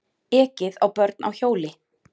Ekið á börn á hjóli